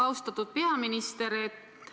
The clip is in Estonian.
Austatud peaminister!